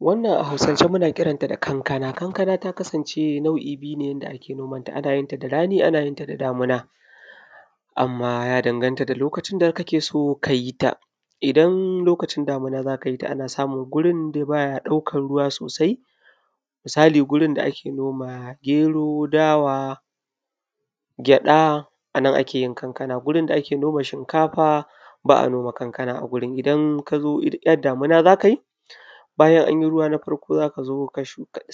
wannan a hausan ce muna kiranta da kankana kanka na taka sance nau’i biyu yanda ake nomanta anayin ta da rani ana yinta da damina amma ya dangan ta da lokacin da kake so kayi ta, in lokacin damina zaka yita anayin ta a wurin da bai daukan ruwa sosai misali gurun da ake noma gero dawa gyada anan akeyin noman kankana gurin da a ke noma kankana ba’ayin shinkafa a gurin, idan kazo in yar damiˋna zakai bayan anyi ruwa na farkoˋ zakazoˋ ka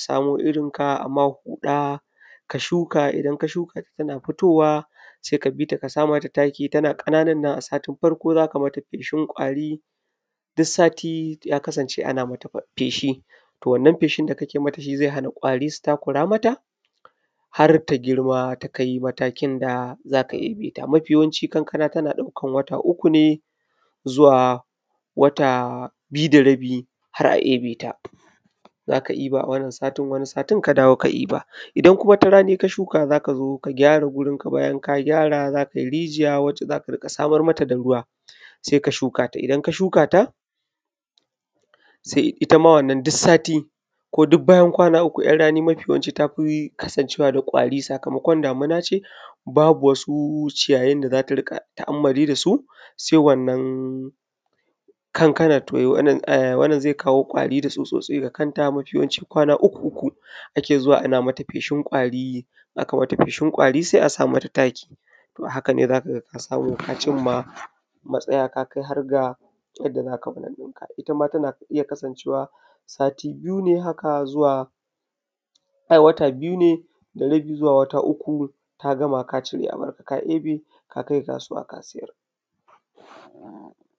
samoˋ irinka aima huda ka shuka idan shuka tana fitowa sai ka bita kasa mata takiˋ idan ka sa mata takiˋ tana kan kanuwa a satin farko zakai mata feshin kwari, duk satiˋ ya kasan ce ana mata feshi to wannan feshin da kake mata shiˋzai hana kwari su takura mata harta girm matakin da zaka eebe ta. Mafiˋ yawanciˋ kankana tana daukan wata uku ne zuwa wata biyu da rabiˋ har’a eebe ta zaka eba a wannan satin waniˋ satin ka dawo ka iiba. Idan kuma raniˋ ka shuka zaka zo ka gyara gurin bayan ka gyara zakai rijiya wacce zaka rinka samar mata da ruwa saika shukata idan ka shuka ta, itta ma wannan duk satiˋ ko duk bayan kwana uku yar rani mafi yawanci tafiˋ kasan cewa da kwariˋ sakamakon damiˋna ce babu wasu ciyayin da zaka rika ta ammali dasu sai wannan kankanan, wannan zai kawoˋ kwari da tsutsotsi ga kanta mafiˋ yawanci kwana uku uku ake zuwa ake mata feshin kwari sai asa mata takiˋ, to a haka dai zakaga ka samu ka cimma matsayˋa kakai harda lokacin da zaka cire abunka. Itta ma tana iyya kasan cewa satiˋ biyu ne ai wata biyu ne da rabiˋ zuwa wata uku kagama ka eebe abinka ka kai kasuwa ka sayar.